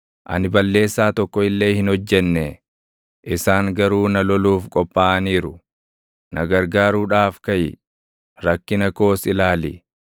Ani balleessaa tokko illee hin hojjennee; isaan garuu na loluuf qophaaʼaniiru. Na gargaaruudhaaf kaʼi; rakkina koos ilaali!